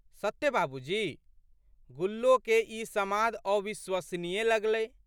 सत्ते बाबूजी? "गुल्लोके ई समाद अविश्वसनीय लगलै।